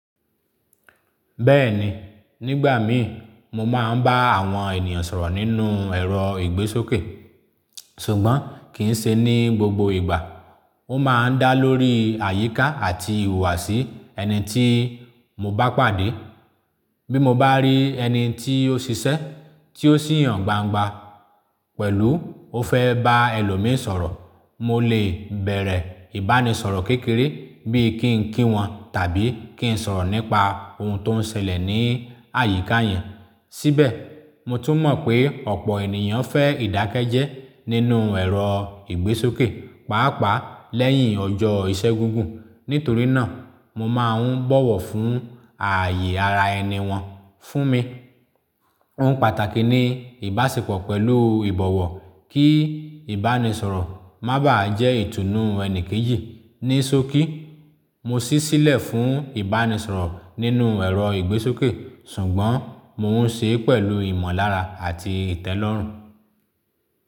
Bẹ́ẹ̀ni, nígbà mí mo máa ń bá àwọn ènìyàn sọ̀rọ̀ nínú ẹ̀rọ ìgbésókè, ṣùgbọ́n kì í ṣe ní gbogbo ìgbà. Ó máa ń dá lórí àyíká àti ìhùwàsí ẹni tí mo bá pàdé. Bí mo bá rí ẹni tí ó ṣiṣẹ́, tí ó sì hàn gbangba pẹ̀lú ó fẹ́ bá ẹlòmíì sọ̀rọ̀, mo lè bẹ̀rẹ̀ ìbánisọ̀rọ̀ kékeré bí i kí n kí wọn tàbí kí n sọ̀rọ̀ nípa ohun tó ń ṣẹlẹ̀ ní àyíká yẹn. Síbẹ̀, mo tún mọ̀ pé ọ̀pọ̀ ènìyàn fẹ́ ìdákẹ́jẹ́ẹ́ nínú ẹ̀rọ ìgbésókè, pàápàá lẹ́yìn ọjọ́ iṣẹ́ gígùn. Nítorí náà, mo máa ń bọ̀wọ̀ fún ààyè ara ẹni wọn fún mi. Ohun pàtàkì ni ìbáṣepọ̀ pẹ̀lú ìbọ̀wọ̀ kí ìbánisọ̀rọ̀ má bà á jẹ́ ìtùnú ẹni kejì. Ní sókí, mo ṣísílẹ̀ fún ìbánisọ̀rọ̀ nínú ẹ̀rọ ìgbésókè, ṣùgbọ́n mo ń ṣe é pẹ̀lú ìmọ̀lára àti ìtẹ́lọ́rùn.